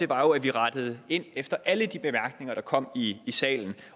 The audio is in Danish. var jo at vi rettede ind efter alle de bemærkninger der kom i salen